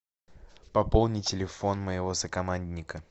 пополни телефон моего сокомандника